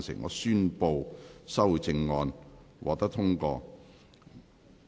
我宣布修正案獲得通過。